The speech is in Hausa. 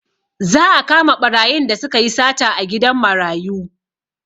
Za a kama ɓarayin da sukayi sata a gidan marayu